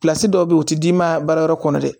dɔw bɛ yen u tɛ d'i ma baara wɛrɛ kɔnɔ dɛ